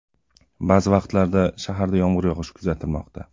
Ba’zi vaqtlarda shaharda yomg‘ir yog‘ishi kuzatilmoqda.